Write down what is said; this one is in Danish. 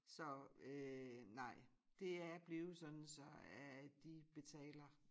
Så øh nej det er blevet sådan så at de betaler